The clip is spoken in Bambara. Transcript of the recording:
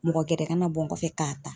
Mɔgɔ gɛrɛ ka na bɔ n kɔfɛ k'a ta.